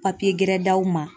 gɛrɛ d'aw ma